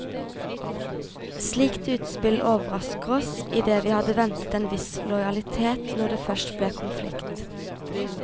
Slikt utspill overrrasker oss, i det vi hadde ventet en viss lojalitet når det først ble konflikt.